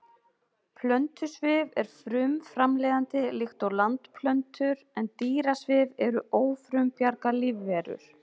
Plöntusvif er frumframleiðandi líkt og landplöntur en dýrasvif eru ófrumbjarga lífverur.